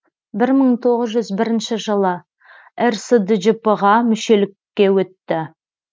бір мың тоғыз жүз бірінші жылы рсджп ға мүшелікке өтті